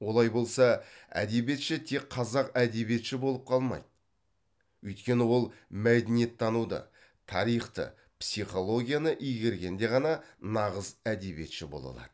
олай болса әдебиетші тек қазақ әдебиетші болып қалмайды өйткені ол мәдениеттануды тарихты психологияны игергенде ғана нағыз әдебиетші бола алады